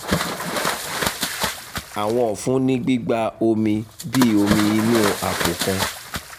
awọn ọfun ni gbigba omi bi omi inu apo kan